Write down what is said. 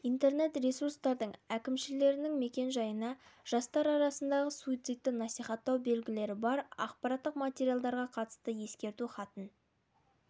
да интернет-ресурстардың әкімшілерінің мекен-жайына жастар арасындағы суицидті насихаттау белгілері бар ақпараттық материалға қатысты ескерту хатын